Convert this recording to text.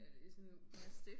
Er det ikke sådan noget